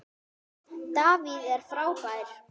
David er frábær.